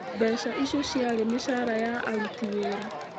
Mbeca icio ciarĩ cia mĩcaara ya aruti wĩra.